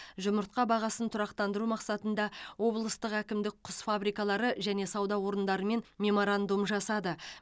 жұмыртқа бағасын тұрақтандыру мақсатында облыстық әкімдік құс фабрикалары және сауда орындарымен меморандум жасады